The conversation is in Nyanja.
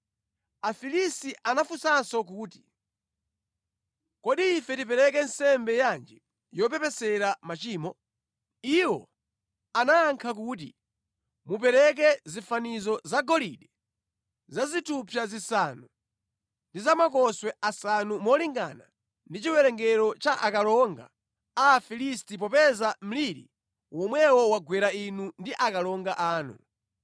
Afilisti anafunsanso kuti “Kodi ife tipereke nsembe yanji yopepesera machimo?” Iwo anayankha kuti, “Mupereke zifanizo zagolide za zithupsa zisanu ndi zamakoswe asanu malingana ndi chiwerengero cha akalonga a Afilisti popeza mliri womwewo wagwera inu ndi akalonga anu.